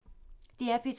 DR P2